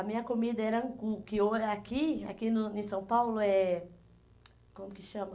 A minha comida era angu, que o eh aqui aqui no em São Paulo é... Como que chama?